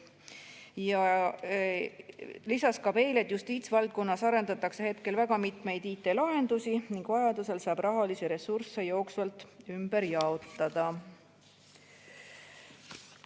Ta lisas veel, et justiitsvaldkonnas arendatakse hetkel väga mitmeid IT‑lahendusi ning vajaduse korral saab rahalisi ressursse jooksvalt ümber jaotada.